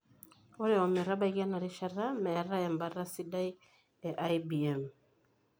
Ore ometabaiki enarishata metae embata sidai e IBM.